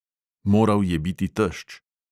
Moral je biti tešč.